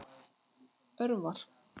Örvar